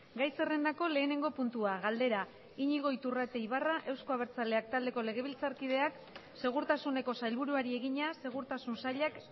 gai zerrendako lehenengo puntua galdera iñigo iturrate ibarra euzko abertzaleak taldeko legebiltzarkideak segurtasuneko sailburuari egina segurtasun sailak